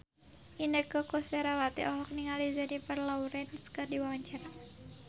Inneke Koesherawati olohok ningali Jennifer Lawrence keur diwawancara